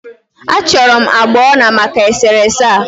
A chọrọ m agbà ọla maka e sere ese a.